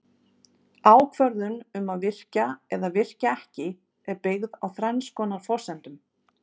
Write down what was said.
Ákvörðun um að virkja eða virkja ekki er byggð á þrenns konar forsendum.